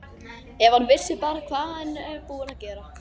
Ef hann vissi bara hvað hann er búinn að gera.